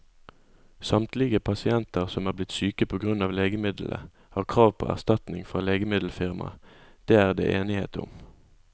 Samtlige pasienter som er blitt syke på grunn av legemiddelet, har krav på erstatning fra legemiddelfirmaet, det er det enighet om.